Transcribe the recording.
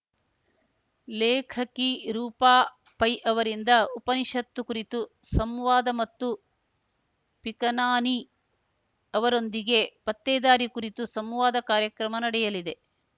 ಲೇಖಕಿ ರೂಪಾ ಪೈ ಅವರಿಂದ ಉಪನಿಷತ್ತು ಕುರಿತು ಸಂವಾದ ಮತ್ತು ಪಿಕನಾನಿ ಅವರೊಂದಿಗೆ ಪತ್ತೆದಾರಿ ಕುರಿತು ಸಂವಾದ ಕಾರ್ಯಕ್ರಮ ನಡೆಯಲಿದೆ